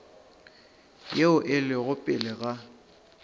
yeo e lego pele ga